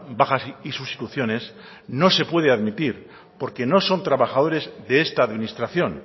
bajas y sustituciones no se puede admitir porque no son trabajadores de esta administración